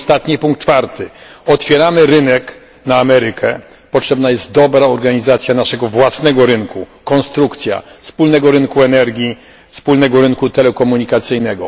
I ostatni punkt czwarty, otwieramy rynek na Amerykę, potrzebna jest dobra organizacja naszego własnego rynku, konstrukcja wspólnego rynku energii, wspólnego rynku telekomunikacyjnego.